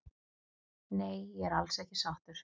Nei ég er alls ekki sáttur